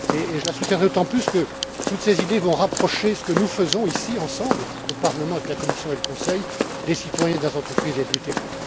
PME. Je la soutiendrai d'autant plus qu'avec d'autres idées, elles rapprocheront ce que nous faisons ici, ensemble, au Parlement, avec la Commission et le Conseil, des citoyens, des entreprises et du terrain.